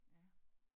Ja